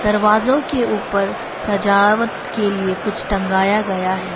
दरवाजों के ऊपर सजावट के लिए कुछ टंगाया गया है।